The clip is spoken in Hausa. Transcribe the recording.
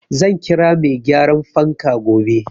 Zan kira mai gyaran fanka gobe.